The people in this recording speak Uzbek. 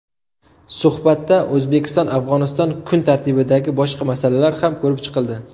Suhbatda O‘zbekistonAfg‘oniston kun tartibidagi boshqa masalalar ham ko‘rib chiqildi.